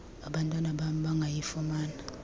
abantwana bam bangayifumana